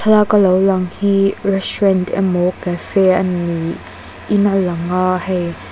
thlalak a lo lang hi restaurant emaw cafe a ni in alang a hei--